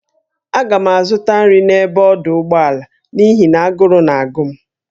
Aga m azụta nri n'ebe a n'ọdụ ụgbọala n'ihi na agụrụ na-agụ m